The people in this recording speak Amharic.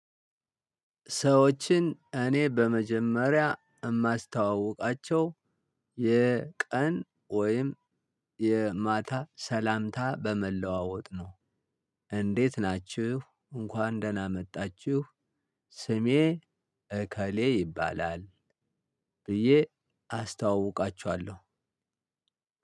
ሰዎችን እኔ በመጀመሪያ የማስተዋውቃቸው የቀን ወይም የማታ ሰላምታ በመለዋወጥ ነው። እንዴት ናችሁ? እንኳን ደህና መጣችሁ። ስሜ እከሌ ይባላል። ብዬ አስተዋውቃችዋለው።